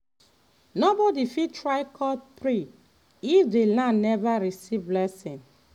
nobody fit try cut tree if the land never receive blessing.